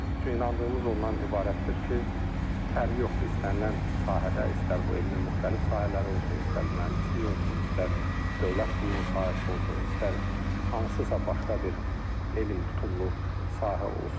Çünki inandığımız ondan ibarətdir ki, fərqi yoxdur, istənilən sahədə, istər bu elmin müxtəlif sahələri olsun, istər mühəndislik olsun, istər dövlət qulluğu sahəsi olsun, istər hansısa başqa bir elm tutumlu sahə olsun.